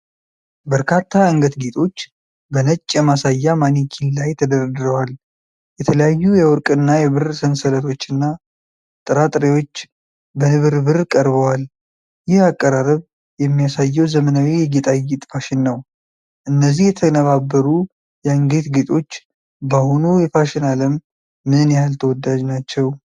በርካታ የአንገት ጌጦች በነጭ የማሳያ ማኔኪን ላይ ተደርድረዋል። የተለያዩ የወርቅና የብር ሰንሰለቶችና ጥራጥሬዎች በንብርብር ቀርበዋል። ይህ አቀራረብ የሚያሳየው ዘመናዊ የጌጣጌጥ ፋሽን ነው። እነዚህ የተነባበሩ የአንገት ጌጦች በአሁኑ የፋሽን ዓለም ምን ያህል ተወዳጅ ናቸው?